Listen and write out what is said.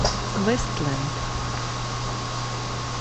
вестлэнд